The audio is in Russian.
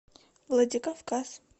владикавказ